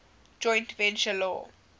joint venture law